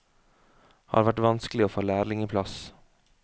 Har vært vanskelig å få lærlingeplass.